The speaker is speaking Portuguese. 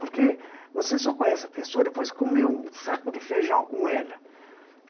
Porque você só conhece a pessoa, depois que comer um saco de feijão com ela.